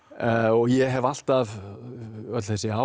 ég hef alltaf öll þessi ár